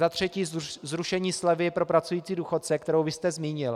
Za třetí zrušení slevy pro pracující důchodce, kterou vy jste zmínil.